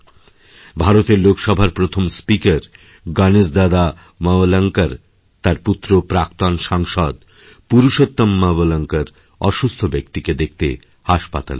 ভারতের লোকসভার প্রথম স্পিকার গণেশ দাদামবলঙ্করএর পুত্র প্রাক্তণ সাংসদ পুরুষোত্তম মবলঙ্কর অসুস্থ ব্যক্তিকে দেখতেহাসপাতালে যান